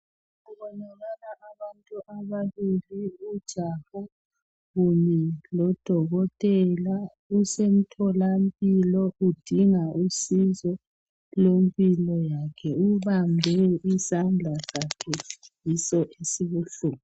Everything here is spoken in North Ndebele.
Kubonakala abantu ababili ujaha kunye lodokotela usemtholampilo udinga usizo lwempilo yakhe ubambe isandla sakhe yiso esibuhlungu